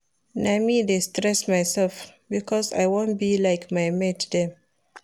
Na me dey stress mysef because I wan be like my mate dem.